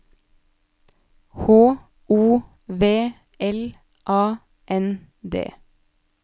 H O V L A N D